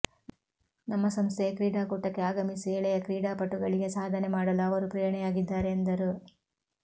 ನಮ್ಮ ಸಂಸ್ಥೆಯ ಕ್ರೀಡಾ ಕೂಟಕ್ಕೆ ಆಗಮಿಸಿ ಎಳೆಯ ಕ್ರೀಡಾ ಪಟುಗಳಿಗೆ ಸಾಧನೆ ಮಾಡಲು ಅವರು ಪ್ರೇರಣೆಯಾಗಿದ್ದಾರೆ ಎಂದರು